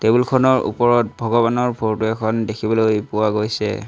Table খনৰ ওপৰত ভগৱানৰ ফৰটো এখন দেখিবলৈ পোৱা গৈছে।